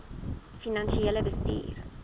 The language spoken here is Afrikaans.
finansiële bestuur